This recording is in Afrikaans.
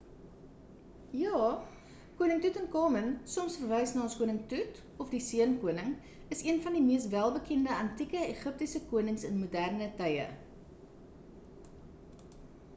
ja koning toetankamen soms verwys na as koning toet of die seun koning is een van die mees welbekende antieke egiptiese konings in moderne tye